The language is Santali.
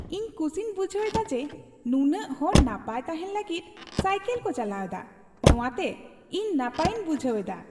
ᱤᱧ ᱠᱩᱥᱤᱧ ᱵᱩᱡᱷᱟᱹᱣ ᱫᱟ ᱡᱮ, ᱱᱩᱱᱟᱹᱜ ᱦᱚᱲ ᱱᱟᱯᱟᱭ ᱛᱟᱦᱮᱱ ᱞᱟᱹᱜᱤᱫ ᱥᱟᱭᱠᱤᱞ ᱠᱚ ᱪᱟᱞᱟᱣ ᱮᱫᱟ ᱾ ᱱᱚᱣᱟᱛᱮ ᱛᱮ ᱤᱧ ᱱᱟᱯᱟᱭ ᱤᱧ ᱵᱩᱡᱷᱟᱹᱣ ᱮᱫᱟ ᱾